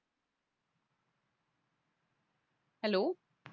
hello